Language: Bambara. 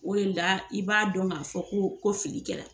O le la i b'a dɔn k'a fɔ ko ko fili kɛ la